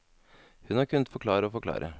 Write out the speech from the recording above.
Hun har kunnet forklare og forklare.